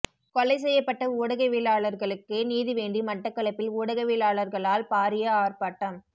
கொலை செய்யப்பட்ட ஊடகவியலாளர்களுக்கு நீதி வேண்டி மட்டக்களப்பில் உடகாவியலார்களால் பாரிய ஆர்ப்பாட்டம்